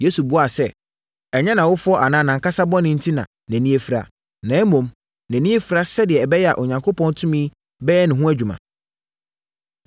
Yesu buaa sɛ, “Ɛnyɛ nʼawofoɔ anaa nʼankasa bɔne enti na nʼani afira. Na mmom, nʼani afira sɛdeɛ ɛbɛyɛ a Onyankopɔn tumi bɛyɛ ne ho adwuma.